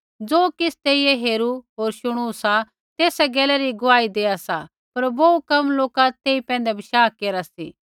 ज़ो किछ़ तैईऐ हेरू होर शुणू सा तेसा गैला री गुआही देआ सा पर बोहू कम लोका तेई पैंधै बशाह केरा सी